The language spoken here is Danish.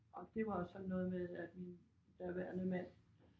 Og det var også sådan noget med at min daværende mand